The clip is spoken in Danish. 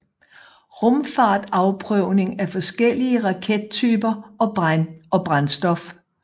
Rumfart Afprøvning af forskellige rakettyper og brændstof